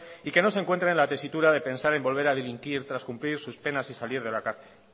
y que no se encuentren en la tesitura de pensar en poder delinquir tras cumplir sus penas y salir de la cárcel